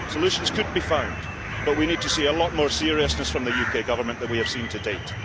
solutions could be found, but we need to see a lot more seriousness from the UK government than we have seen to date.